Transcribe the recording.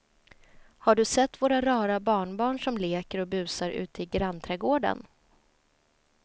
Har du sett våra rara barnbarn som leker och busar ute i grannträdgården!